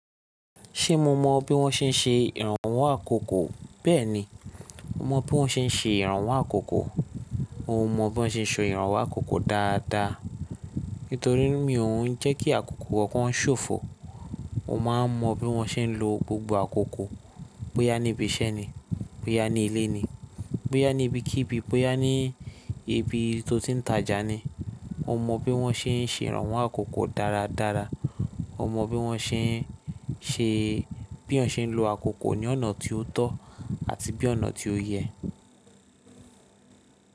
Ṣé mo mọ bí wọ́n ṣe ń ṣe ìrànwọ́ àkókò? Bẹ́ẹ̀ni, mo mọ bí wọ́n ṣe ń ṣe ìrànwọ́ àkókò. Mo mọ bí wọ́n ṣe ń so ìrànwọ́ àkókò dáadáa. Nítorí mi ò ń jẹ́ kí àkókò kankàn ṣòfò. Mo máa ń mọ bí mo ṣe ń lo gbogbo àkókò. Bóyá níbi iṣẹ́ ni, bóyá ní ilé ni, bóyá ní ibi kíbí, bóyá ní ibi tó ti ń tajá ni. O mọ bí wọ́n ṣe ń ṣe ìrànwọ́ àkókò dáradára. O mọ bí wọ́n ṣe ń ṣe, bí eeyan ṣe ń lo àkókò ní ọ̀nà tí ó tọ́ àti bí ọ̀nà tí ó yẹ.